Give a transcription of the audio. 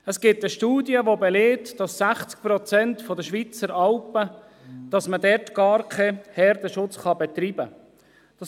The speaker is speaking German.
Es gibt eine Studie, die belegt, dass man auf 60 Prozent der Alpen gar keinen Herdenschutz betreiben kann.